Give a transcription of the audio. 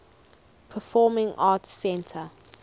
performing arts center